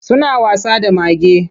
Suna wasa da mage.